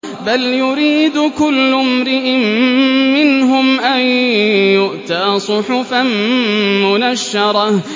بَلْ يُرِيدُ كُلُّ امْرِئٍ مِّنْهُمْ أَن يُؤْتَىٰ صُحُفًا مُّنَشَّرَةً